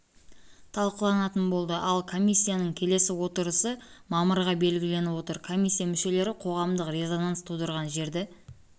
талқыланатын болды ал комиссияның келесі отырысы мамырға белгіленіп отыр комиссия мүшелері қоғамдық резонанс тудырған жерді